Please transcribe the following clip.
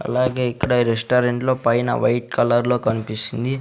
అలాగే ఇక్కడ రెస్టారెంట్లు పైన వైట్ కలర్లో కనిపిస్తుంది.